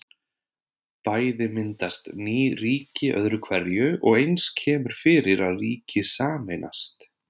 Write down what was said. Bæði myndast ný ríki öðru hverju og eins kemur fyrir að ríki sameinast.